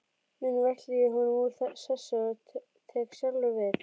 Núna velti ég honum úr sessi og tek sjálfur við.